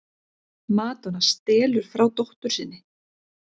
Madonna stelur frá dóttur sinni